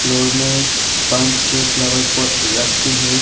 Floor में पांच छह फ्लावर पॉट रखे हैं।